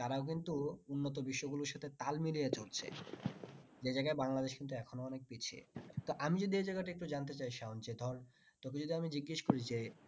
তারাও কিন্তু উন্নত বিশ্ব গুলির সাথে তাল মিলিয়ে চলছে যে জায়গায় বাংলাদেশ কিন্তএখন ও অনেক পিছিয়ে তা আমি যদি এ জায়গাটা টা একটু জানতে চাই সায়ন যে ধর তোকে যদি আমি জিগেস করি যে